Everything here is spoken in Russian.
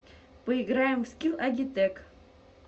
поиграем в скилл агитек